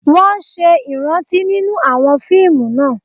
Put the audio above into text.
Wọ́n ṣe ìrántí nínú àwọn fíìmù náà